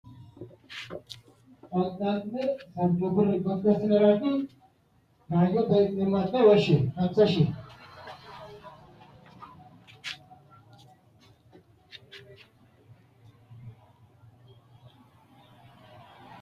Ila fafise ilate shoolericho hawa dihasiissanno akimete amaale adha, addi addi xagga horonsi’ra, mageeshshi ooso illanniro muranna mamoote illanniro anfe qixxaawa.